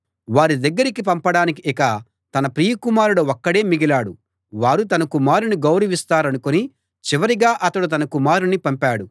వారి దగ్గరికి పంపడానికి ఇక తన ప్రియ కుమారుడు ఒక్కడే మిగిలాడు వారు తన కుమారుణ్ణి గౌరవిస్తారనుకుని చివరిగా అతడు తన కుమారుణ్ణి పంపాడు